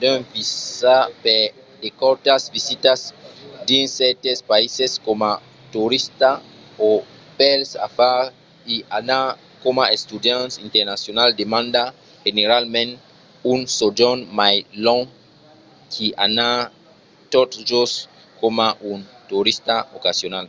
d’un visa per de cortas visitas dins cèrtes païses coma torista o pels afars i anar coma estudiant internacional demanda generalament un sojorn mai long qu’i anar tot just coma un torista ocasional